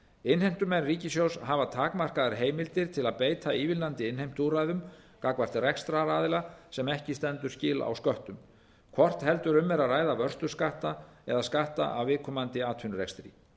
innheimtumenn ríkissjóðs hafa takmarkaðar heimildir til að beita ívilnandi innheimtuúrræðum gagnvart rekstraraðila sem ekki stendur skil á sköttum hvort heldur um er að ræða vörsluskatta eða skatta af viðkomandi atvinnurekstri